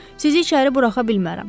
Sizi içəri buraxa bilmərəm.